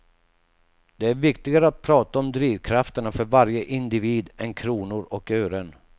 Det är viktigare att prata om drivkrafterna för varje individ än kronor och ören.